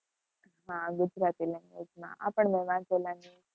હા ગુજરાતી languange માં આ પણ ,